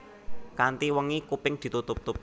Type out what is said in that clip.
Kanthi wengi kuping ditutup